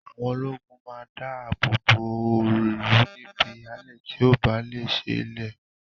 Àwọn ológun máa da àbọ̀ bọ̀ ó ìlú níbi ìhàlẹ̀ tí ó bá lè ṣe lè